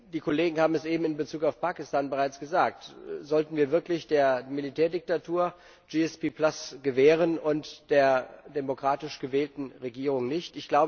Die Kollegen haben es eben in Bezug auf Pakistan bereits gesagt Sollten wir wirklich der Militärdiktatur APS gewähren und der demokratisch gewählten Regierung nicht?